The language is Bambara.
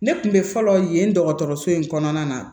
Ne kun bɛ fɔlɔ yen dɔgɔtɔrɔso in kɔnɔna na